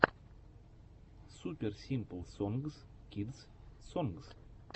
супер симпл сонгс кидс сонгс